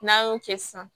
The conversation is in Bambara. N'an y'o kɛ sisan